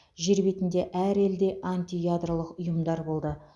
жер бетінде әр елде антиядролық ұйымдар болды